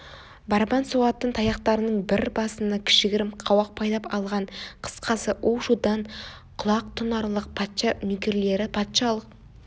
барабан соғатын таяқтарының бір басына кішігірім қауақ байлап алған қысқасы у-шудан құлақ тұнарлық патша нөкерлері патшалық